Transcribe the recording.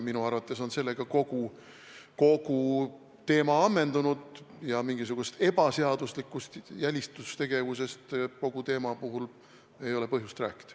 Minu arvates on sellega kogu teema ammendunud ja mingisugusest ebaseaduslikust jälitustegevusest ei ole põhjust rääkida.